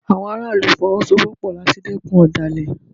Àwọn ará ìlú Fọwọ́sowọ́pọ̀ láti dẹ́kun ọ̀dàlẹ̀